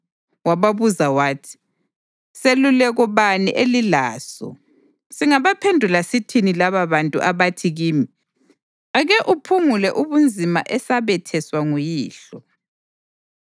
Wababuza wathi, “Seluleko bani elilaso? Singabaphendula sithini lababantu abathi kimi, ‘Ake uphungule ubunzima esabetheswa nguyihlo’?”